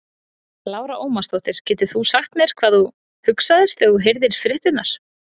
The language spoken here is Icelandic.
Lára Ómarsdóttir: Getur þú sagt mér hvað þú hugsaðir þegar þú heyrðir fréttirnar?